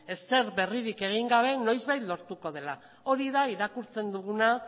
ezer berririk egin gabe noizbait lortuko dela hori da irakurtzen duguna